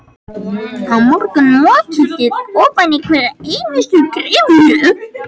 Á morgun mokið þið ofan í hverja einustu gryfju.